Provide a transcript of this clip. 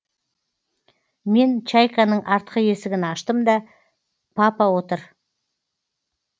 мен чайканың артқы есігін аштым да папа отыр